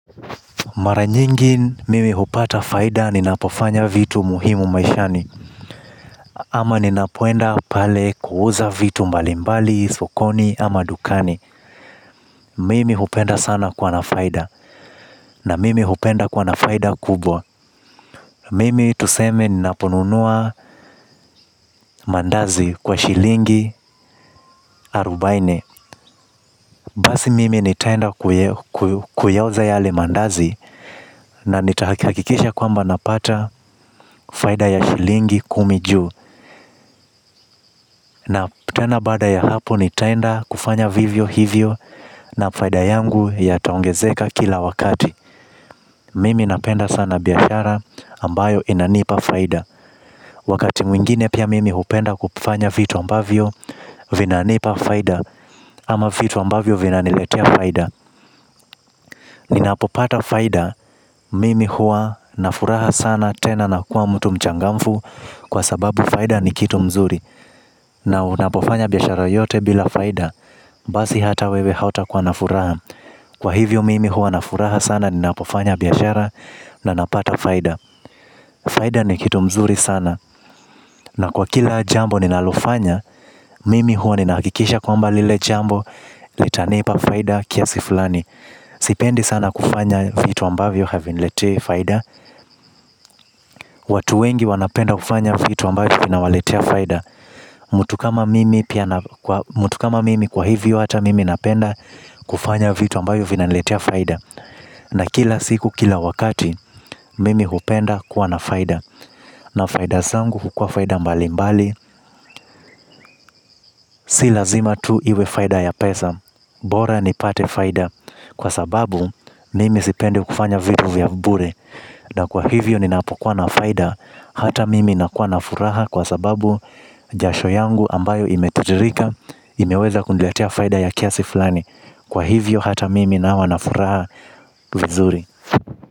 Mara nyingi mimi hupata faida ninapo fanya vitu muhimu maishani. Ama ni napoenda pale kuuza vitu mbalimbali, sokoni ama dukani. Mimi hupenda sana kuwa na faida na mimi hupenda kuwa na faida kubwa. Mimi tuseme ni naponunua mandazi kwa shilingi arubaine. Basi mimi nitaenda kuyauza yale mandazi. Na nitahakikisha kwamba napata faida ya shilingi kumi juu. Na tena baada ya hapo ni tenda kufanya vivyo hivyo na faida yangu ya taongezeka kila wakati. Mimi napenda sana biashara ambayo inanipa faida. Wakati mwingine pia mimi hupenda kupfanya vitu ambavyo vinanipa faida ama vitu ambavyo vinaniletea faida. Ninapopata faida mimi hua na furaha sana tena na kuwa mtu mchangamfu kwa sababu faida ni kitu mzuri. Na unapofanya biashara yote bila faida. Basi hata wewe hauta kuwa na furaha. Kwa hivyo mimi hua nafuraha sana. Ninapofanya biashara na napata faida. Faida ni kitu mzuri sana. Na kwa kila jambo ninalo fanya mimi huwa ninahakikisha kwamba lile jambo litanipa faida kiasi fulani. Sipendi sana kufanya vitu ambavyo haviniletei faida. Watu wengi wanapenda kufanya vitu ambavyo vinawaletea faida. Mtu kama mimi kwa hivyo hata mimi napenda kufanya vitu ambayo vina niletea faida. Na kila siku kila wakati mimi hupenda kuwa na faida. Na faida zangu hukua faida mbali mbali. Si lazima tu iwe faida ya pesa. Bora nipate faida kwa sababu mimi sipendi kufanya vitu vya bure. Na kwa hivyo ninapokuwa na faida hata mimi nakuwa na furaha kwa sababu jasho yangu ambayo imetitirika imeweza kuniletea faida ya kiasi fulani. Kwa hivyo hata mimi nawa nafuraha. Vizuri.